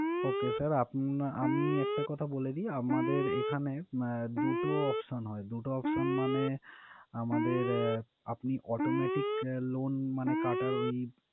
Okay sir আপনা~আমি একটা কথা বলে দিই, আমাদের ম~এখানে দুটো option হয়। দুটো option মানে আমাদের আপনি automatic loan মানে কাটার ঐ